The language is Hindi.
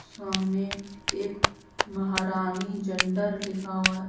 सामने एक महारानी जंडर लिखा हुआ है।